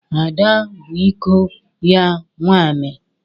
Ada bụ iko ya nwaanyị.